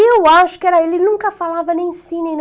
Eu acho que era, ele nunca falava nem sim, nem